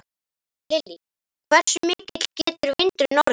Lillý: Hversu mikill getur vindurinn orðið?